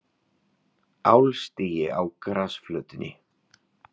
Álstigi á grasflötinni.